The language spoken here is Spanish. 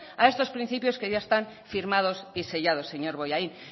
a estos principios que ya están firmados y sellados señor bollain